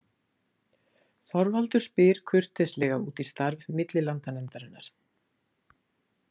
Þorvaldur spyr kurteislega út í starf millilandanefndarinnar.